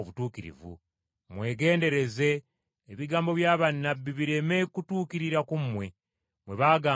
Mwegendereze, ebigambo bya bannabbi bireme kutuukirira ku mmwe, bwe baagamba nti: